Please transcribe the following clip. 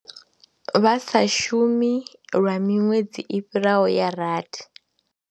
Vha sa shumi lwa miṅwedzi i fhiraho ya rathi.